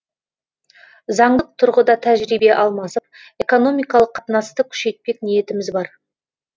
заңдық тұрғыда тәжірибе алмасып экономикалық қатынасты күшейтпек ниетіміз бар